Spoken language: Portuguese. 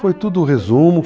Foi tudo resumo.